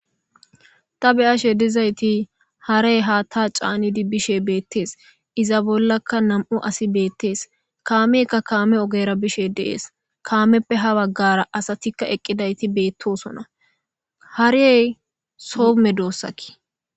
Ta beyashe dizayti harey hata canidi bishe betes iza bollaka nam'u asi betes kameyka kame ogera bishe deses kamepe ha bagara asati eqidaytika betosona hare soho medosa